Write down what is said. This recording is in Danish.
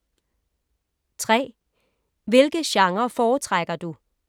3) Hvilke genrer foretrækker du?